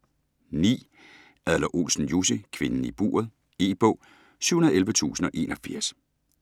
Adler-Olsen, Jussi: Kvinden i buret E-bog 711081